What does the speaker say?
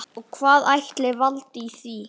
Og hvað ætli valdi því?